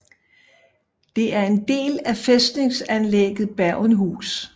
Det er en del af fæstningsanlægget Bergenhus